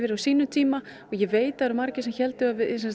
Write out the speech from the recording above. á sínum tíma og ég veit voru margir sem héldu að